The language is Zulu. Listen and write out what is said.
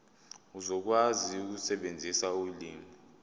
uzokwazi ukusebenzisa ulimi